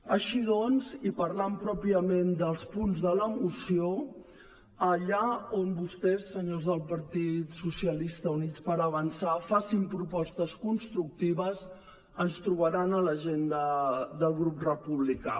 així doncs i parlant pròpiament dels punts de la moció allà on vostès senyors del partit socialistes i units per avançar facin propostes constructives ens trobaran a l’agenda del grup republicà